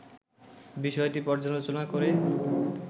বিষয়টি পর্যালোচনা করে